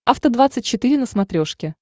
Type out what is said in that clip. афта двадцать четыре на смотрешке